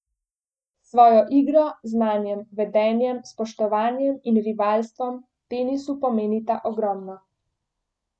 S svojo igro, znanjem, vedenjem, spoštovanjem in rivalstvom tenisu pomenita ogromno.